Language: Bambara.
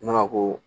Ne ma ko